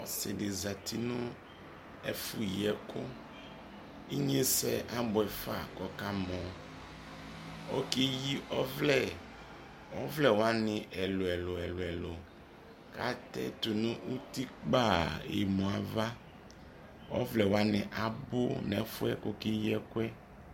ɔsii di zati nʋ ɛƒʋ yii ɛkʋ, inyɛsɛ abʋɛ ƒa lakʋ ɔka mɔ ,ɔkɛ yii ɔvlɛ, ɔvlɛ wani ɛlʋɛlʋ, adʋ tʋnʋ ʋti kpaa yɛmʋ aɣa, ɔvlɛ wani abʋ nʋ ɛƒʋɛ ɔkɛ yii ɛkʋɛ